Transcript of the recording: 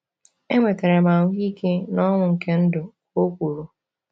Enwetara m ahụike na ọṅụ nke ndụ, o kwuru.